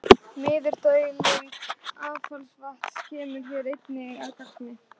Niðurdæling affallsvatns kemur hér einnig að gagni.